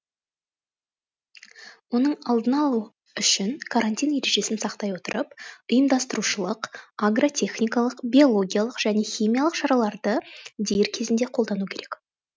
оның алдын алу үшін карантин ережесін сақтай отырып ұйымдастырушылық агротехникалық биологиялық және химиялық шараларды дер кезінде қолдану керек